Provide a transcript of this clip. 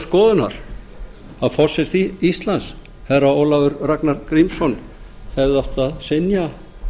skoðunar að forseti íslands herra ólafur ragnar grímsson hefði átt að synja